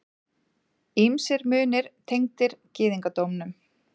Ýmsir munir tengdir gyðingdómnum.